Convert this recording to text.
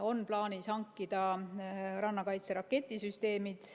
On plaanis hankida rannakaitse raketisüsteemid.